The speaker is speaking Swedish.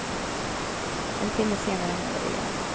En timme senare hände det igen.